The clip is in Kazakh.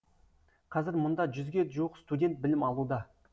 қазір мұнда жүзге жуық студент білім алуда